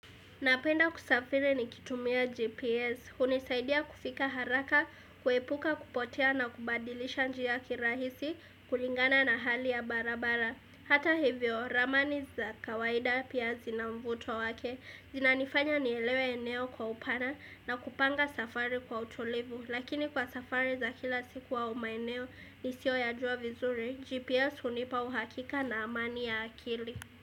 Napenda kusafiri nikitumia GPS, hunisaidia kufika haraka, kuhepuka kupotea na kubadilisha njia kirahisi, kulingana na hali ya barabara. Hata hivyo, ramani za kawaida pia zina mvuto wake, zinanifanya nielewe eneo kwa upana na kupanga safari kwa utulivu. Lakini kwa safari za kila siku wa maeneo nisiyoyajua vizuri, GPS hunipa uhakika na amani ya akili.